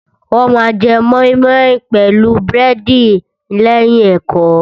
Wọ́n ma jẹ mọ́ímọ́í pẹ̀lú búrẹ́dì lẹ́yìn ẹ̀kọ́.